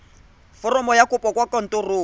foromo ya kopo kwa kantorong